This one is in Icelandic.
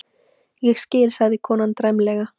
Ég skil, sagði konan dræmlega.